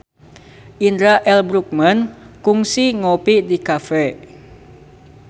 Indra L. Bruggman kungsi ngopi di cafe